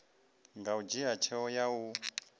nga dzhia tsheo ya u